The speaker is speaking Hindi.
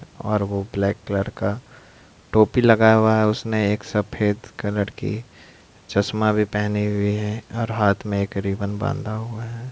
--और वो ब्लैक कलर का टोपी लगा हुआ हैउसमें सफेद कलर की चश्मा भी पहनी हुई है और हाथ में एक रिबन बांधा हुआ है।